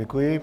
Děkuji.